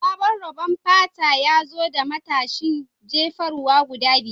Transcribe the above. Sabon rabon fata ya zo da matashin jefarwa guda biyar